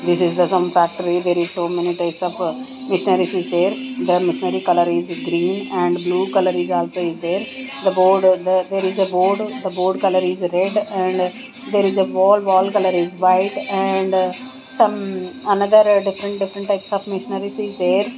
this is a some factory there is so many types of missionaries is there the missionary colour is green and blue colour is also is there the board uh there is a board the board colour is red and there is a wall wall colour is white and some another different different types of missionaries is there.